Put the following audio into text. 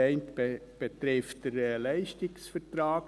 Der eine betrifft den Leistungsvertrag.